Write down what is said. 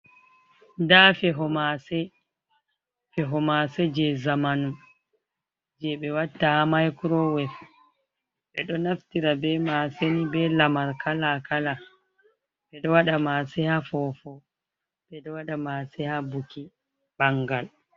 Nda feho mase, feho mase je zamanun je be watta ha maikurowef, ɓeɗo naftira be maseni be lamar kala kala, ɓeɗo waɗa mase ha fofo, ɓeɗo waɗa mase ha buki ɓangal.